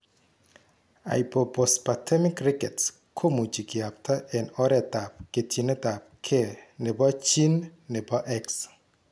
Hypophosphatemic rickets komuchi kiyapta eng' oretab ketchinetabge nebo gene nebo X